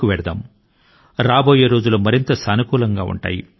నేను ప్రారంభం లో చెప్పినట్లుగా రాబోయే రోజులు మరింత సానుకూలం గా ఉంటాయి